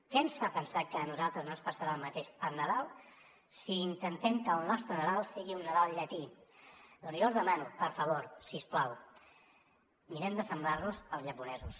què ens fa pensar que a nosaltres no ens passarà el mateix per nadal si intentem que el nostre nadal sigui un nadal llatí doncs jo els demano per favor si us plau mirem d’assemblar nos als japonesos